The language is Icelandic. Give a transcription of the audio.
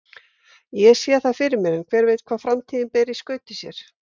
Ég sé það fyrir mér en hver veit hvað framtíðin ber í skauti sér.